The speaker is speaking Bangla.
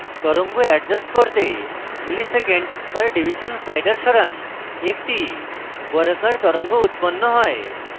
তরঙ্গ adjust করতে msec/div slider সরান একটি বর্গাকার তরঙ্গ উৎপন্ন হয়